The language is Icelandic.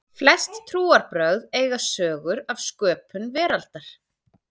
Flest trúarbrögð eiga sögur af sköpun veraldarinnar.